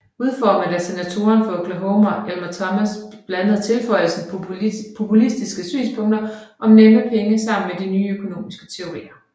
Udformet af senatoren fra Oklahoma Elmer Thomas blandede tilføjelsen populistiske synspunkter om nemme penge sammen med nye økonomiske teorier